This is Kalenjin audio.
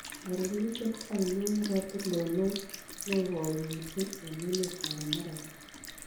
Karuruchet ainon nebo tulonook negoi misiing' eng' emetap amerika